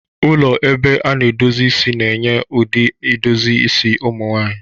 Ụlọ ebe a na-edozi isi na-enye ụdị edozi isi ụmụ nwanyị.